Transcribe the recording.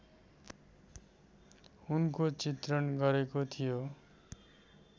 उनको चित्रण गरेको थियो